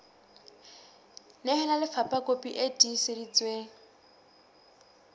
nehela lefapha kopi e tiiseditsweng